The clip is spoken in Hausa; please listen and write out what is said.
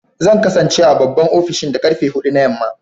Zan kasance a babban ofishin da karfe hudu na yamma